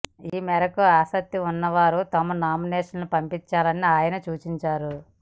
ఈ మేరకు ఆసక్తి ఉన్న వారు తమ నామినేషన్లను పంపించాలని ఆయన సూచించారు